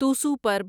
توسو پرب